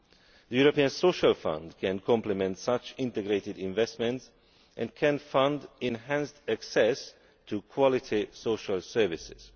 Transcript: The European Social Fund can complement such integrated investments and can fund enhanced access to quality social services.